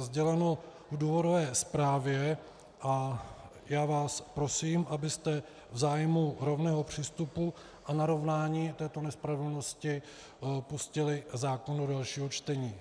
sděleno v důvodové zprávě a já vás prosím, abyste v zájmu rovného přístupu a narovnání této nespravedlnosti pustili zákon do dalšího čtení.